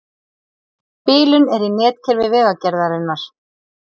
Bilun er í netkerfi Vegagerðarinnar